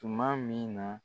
Tuma min na